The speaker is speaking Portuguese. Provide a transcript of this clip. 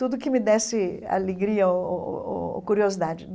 Tudo que me desse alegria o o o ou curiosidade.